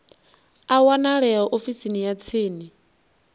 a wanalea ofisini ya tsini